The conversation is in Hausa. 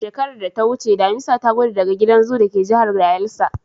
A shekarar da ta wuce damisa ta gudu daga gidan zoo da ke Jihar Bayelsa.